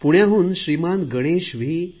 पुण्याहून श्रीमान गणेश व्ही